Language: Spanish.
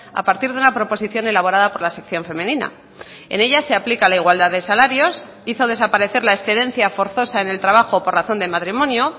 a partir de una proposición elaborada por la sección femenina en ella se aplica la igualdad de salarios hizo desaparecer la excedencia forzosa en el trabajo por razón de matrimonio